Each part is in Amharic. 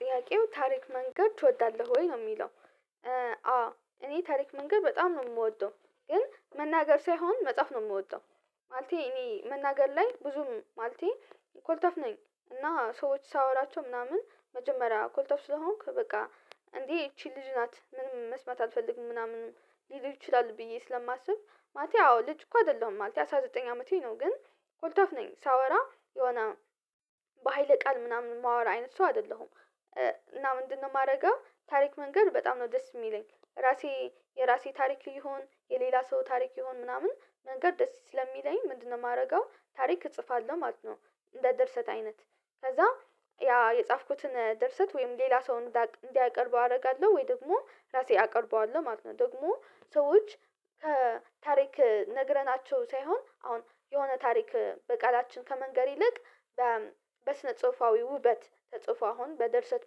ጥያቄው ታሪክ መንገር ትወዳለህ ወይ ነው ሚለው? አዎ እኔ ታሪክ መንገር በጣም ነው ምወደው ግን መናገር ሳይሆን መጻፍ ነው ምወደው። ማለቴ እኔ መናገር ላይ ብዙም ማለቴ ኮልታፍ ነኝ። እና ሰዎች ሳወራቸው ምናምን መጀመሪያ ኮልታፍ ስለሆንኩ በቃ እንዴ ይቺ ልጅ ናት ምንም መስማት አልፈልግም ምናምን ሊሉ ይችላል ብዬ ስለማስብ ማለቴ አዎ ልጅ እኮ አደለሁም ማለቴ ነው አስራ ዘጠኝ አመቴ ነው። ግን ኮልታፍ ነኝ ሳወራ የሆነ በሃይለ ቃል ምናምን ማወራ አይነት ሰው አደለሁም። እና ምንድነው ማረገው ታሪክ መንገር በጣም ነው ደስ ሚለኝ ራሴ የራሴ ታሪክ ይሁን የሌላ ሰው ታሪክ ይሁን ምናምን መንገር ደስ ስለሚለኝ። ምንድነው ማረገው ታሪክ እጽፋለው ማለት ነው። እንደ ድርሰት አይነት ከዛ ያ የጻፍኩትን ድርሰት ወይም ሌላ ሰው እንዲያቀርበው አረጋለው ወይ ደግሞ ራሴ አቀርበዋለው ማለት ነው። ደግሞ ሰዎች ከታሪክ ነግረናቸው ሳይሆን አሁን የሆነ ታሪክ በቃላችን ከመንገር ይልቅ። በስነ ጽሁፋዊ ውበት ተጽፎ አሁን በድርሰት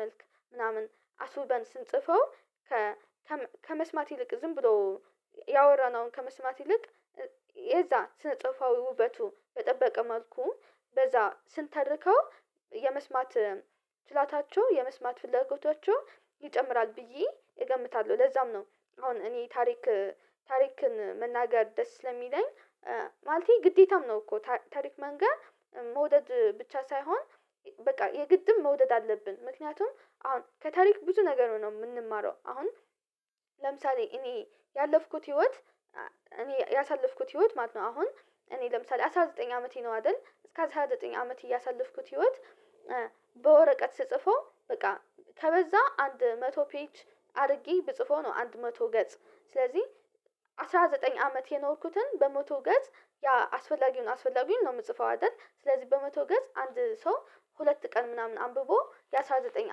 መልክ ምናምን አስውበን ስንጽፈው። ከመስማት ይልቅ ዝም ብሎ ያወራነውን ከመስማት ይልቅ። የዛ ስነ ጽሁፋዊ ውበቱ በጠበቀ መልኩ በዛ ስንተርከው የመስማት ፍላታቸው የመስማት ፍላጎታቸው ይጨምራል ብዬ እገምታለው ለዛም ነው። አሁን እኔ ታሪክ ታሪክን መናገር ደስ ስለሚለኝ። ማለቴ ግዴታም ነው እኮ ታሪክ መንገር መውደድ ብቻ ሳይሆን በቃ የግድም መውደድ አለብን። ምክንያቱም አሁን ከታሪክ ብዙ ነገር ነው ምንማረው አሁን። ለምሳሌ እኔ ያለፍኩት ህይወት እኔ ያሳለፍኩት ህይወት ማለት ነው። አሁን እኔ ለምሳሌ አስራ ዘጠኝ አመቴ ነው አደል እስከ አስራ ዘጠኝ አመት ያሳለፍኩት ህይወት። በወረቀት ስጽፈው በቃ ከበዛ አንድ መቶ ፔጅ አርጌ ብጽፈው ነው። አንድ መቶ ገጽ ስለዚ አስራ ዘጠኝ አመት የኖርኩትን በመቶ ገጽ ያ አስፈላጊውን አስፈላጊውን ነው ምጽፈው አደል ስለዚ በመቶ ገጽ አንድ ሰው ሁለት ቀን ምናምን አንብቦ የአሥራ ዘጠኝ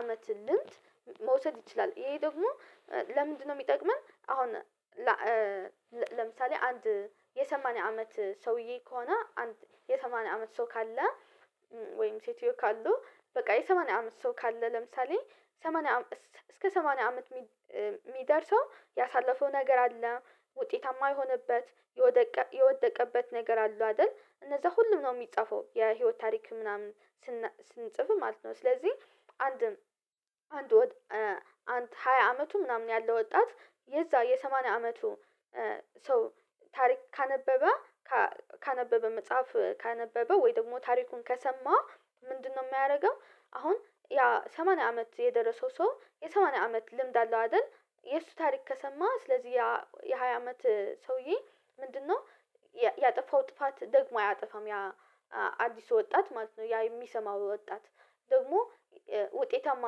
አመት ልምድ። መውሰድ ይችላል ይሄ ደግሞ ለምንድነው ሚጠቅመን አሁን? ለምሳሌ አንድ የሰማኒያ አመት ሰውዬ ከሆነ አንድ የሰማኒያ አመት ሰው ካለ ወይም ሴትዮ ካሉ በቃ የሰማኒያ አመት ሰው ካለ ለምሳሌ ሰማኒያ እስከ ሰማኒያ አመት ሚደርሰው ያሳለፈው ነገር አለ ውጤታማ የሆነበት የወደቀበት ነገር አለው አደል እነዛ ሁሉም ነው ሚጻፈው የህይወት ታሪክ ምናምን ስንጽፍ ማለት ነው። ስለዚ አንድም አንድ አንድ ሃያ አመቱ ምናምን ያለ ወጣት የዛ የሰማኒያ አመቱ ሰው ታሪክ ካነበበ ካነበበ መጽሐፍ ካነበበ ወይ ደግሞ ታሪኩን ከሰማ ምንድነው ሚያረገው አሁን ያ ሰማኒያ አመት የደረሰው ሰው የሰማኒያ አመት ልምድ አለው አደል። የሱ ታሪክ ከሰማ ስለዚ ያ የሃያ አመት ሰውዬ ምንድነው? ያጠፋው ጥፋት ደግሞ አያጠፋም ያ አዲሱ ወጣት ማለት ነው ያ የሚሰማው ወጣት ደግሞ ውጤታማ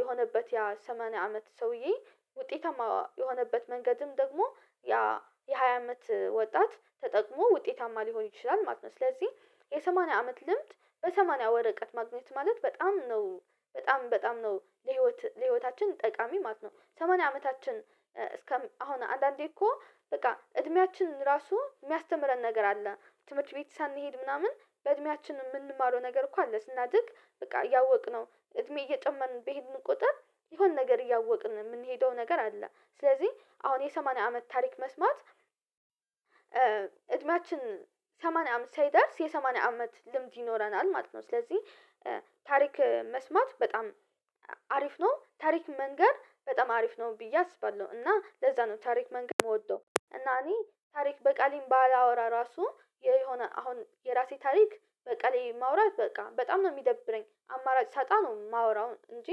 የሆነበት የሰማኒያ አመት ሰውዬ ውጤታማ የሆነበት መንገድም ደግሞ ያ የሃያ አመት ወጣት ተጠቅሞ ውጤታማ ሊሆን ይችላል ማለት ነው። ስለዚ የሰማኒያ አመት ልምድ በሰማኒያ ወረቀት ማግኘት ማለት በጣም ነው በጣም በጣም ነው ለህይወት ለህይወታችን ጠቃሚ ማለት ነው። ሰማኒያ አመታችን እስከ አሁን አንዳንዴ እኮ በቃ እድሜያችን ራሱ ሚያስተምረን ነገር አለ። ትምርት ቤት ሳንሄድ ምናምን በእድሜያችን ምንማረው ነገር እኮ አለ ስናድግ በቃ እያወቅነው እድሜ እየጨመርን ቢሄድን ቁጥር የሆነ ነገር እያወቅን ምንሄደው ነገር አለ ስለዚ አሁን የሰማኒያ አመት ታሪክ መስማት። እድሜያችን ሰማኒያ አመት ሳይደርስ የሰማኒያ አመት ልምድ ይኖረናል ማለት ነው። ስለዚ ታሪክ መስማት በጣም አሪፍ ነው ታሪክ መንገር በጣም አሪፍ ነው ብዬ አስባለው። እና ለዛ ነው ታሪክ መንገር ምወደው እና እኔ ታሪክ በቃሌም ባላወራ ራሱ የሆነ አሁን የራሴ ታሪክ በቃሌ ማውራት በቃ በጣም ነው ሚደብረኝ። አማራጭ ሳጣ ነው ማወራው እንጂ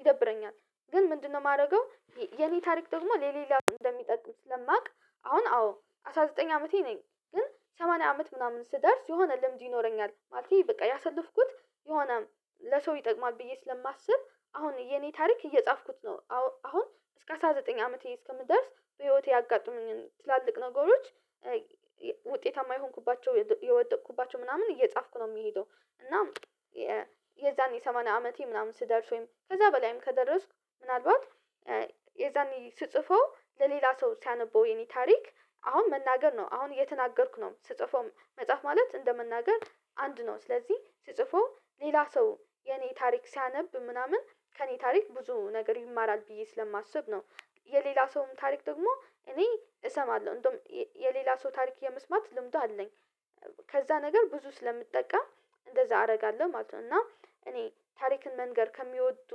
ይደብረኛል። ግን ምንድነው? ማረገው የኔ ታሪክ ደግሞ ለሌላ እንደሚጠቅም ስለማቅ። አሁን አዎ አስራ ዘጠኝ አመቴ ነኝ ግን ሰማኒያ አመት ምናምን ስደርስ የሆነ ልምድ ይኖረኛል ማለቴ በቃ ያሳለፍኩት የሆነ ለሰው ይጠቅማል ብዬ ስለማስብ አሁን የኔ ታሪክ እየጻፍኩት ነው። አሁን እስከ አስራ ዘጠኝ አመቴ እስከምደርስ በህይወቴ ያጋጥሙኝን ትላልቅ ነገሮች ውጤታማ የሆንኩባቸው የወደኩባቸው ምናምን እየጻፍኩ ነው ምሄደው። እና የዛኔ ሰማኒያ አመቴ ምናምን ስደርስ ወይም ከዛ በላይም ከደረስኩ ምናልባት የዛኔ ስጽፈው ለሌላ ሰው ሲያነበው የኔ ታሪክ አሁን መናገር ነው አሁን እየተናገርኩ ነው ስጽፈው መጻፍ ማለት እንደመናገር አንድ ነው ስለዚ ስጽፈው ሌላ ሰው የኔን ታሪክ ሲያነብ ምናምን ከኔ ታሪክ ብዙ ነገር ይማራል ብዬ ስለማስብ ነው። የሌላ ሰውም ታሪክ ደግሞ እኔ እሰማለው እንደውም የሌላ ሰው ታሪክ የመስማት ልምዱ አለኝ። ከዛ ነገር ብዙ ስለምጠቀም እንደዛ አረጋለው ማለት ነው። እና እኔ ታሪክን መንገር ከሚወዱ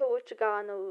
ሰዎች ጋ ነው።